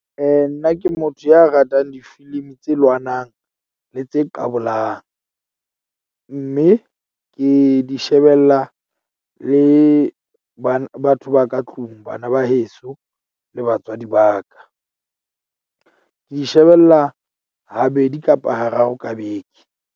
Nna ke motho ya ratang difilimi tse lwanang le tse qabolang mme ke di shebella le batho ba ka tlung, bana ba heso, le batswadi ba ka, ke shebella habedi kapa hararo ka beke.